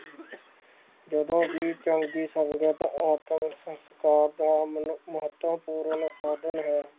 ਜਦੋਂ ਵੀ ਚੌਕੀ ਸੰਗਦਾ ਤਾਂ ਆਤ੍ਮਕਰ ਦਾ ਮਹੱਤਵਪੂਰਨ ਸਾਧਨ ਹੈ